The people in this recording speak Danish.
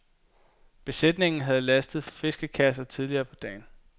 Besætningen havde lastet fiskekasser tidligere på dagen.